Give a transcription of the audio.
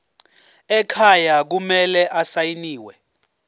ekhaya kumele asayiniwe